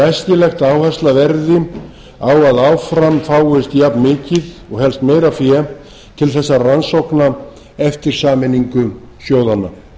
æskilegt að áhersla verði á að áfram fáist jafnmikið og helst meira fé átt þessara rannsókna eftir sameiningu sjóðanna